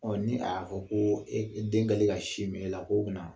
Ɔ ni a ko ko den kɛlen ka sin min e la ko na